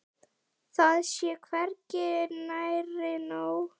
Það sé hvergi nærri nóg.